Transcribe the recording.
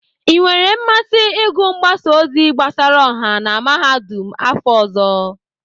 I nwere mmasị ịgụ mgbasa ozi gbasara ọha na Mahadum afọ ọzọ?